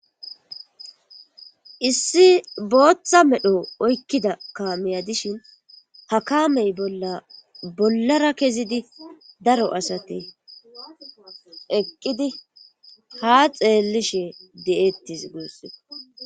issi booththa medho oykkida kaameya dishin ha kaamey bollara kezidi daro asate eqqidi ha xeellishe de'ettes guussukko.